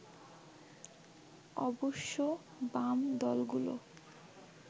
অবশ্য বাম দলগুলো